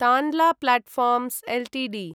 Tanla platforms Ltd